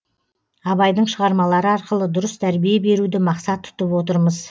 абайдың шығармалары арқылы дұрыс тәрбие беруді мақсат тұтып отырмыз